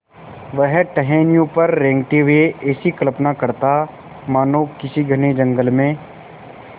वह टहनियों पर रेंगते हुए ऐसी कल्पना करता मानो किसी घने जंगल में